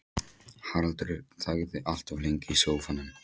Haraldur þagði allt of lengi í sófanum.